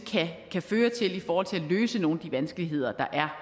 kan føre til i forhold til at løse nogle af de vanskeligheder der er